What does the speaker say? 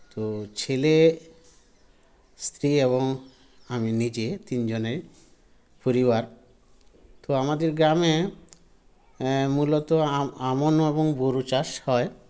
তো ছেলে স্ত্রী এবং আমি নিজে তিনজনের পরিবার তো আমাদের গ্রামে এ মূলত আ আমন এবং বোরো চাষ হয়